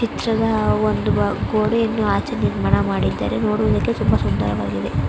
ಚಿತ್ರದ ಒಂದು ಗೋಡೆಯನ್ನು ಆಚೆ ನಿರ್ಮಾಣ ಮಾಡಿದ್ದಾರೆ ನೋಡೋದಕ್ಕೆ ತುಂಬಾ ಸುಂದರವಾಗಿದೆ.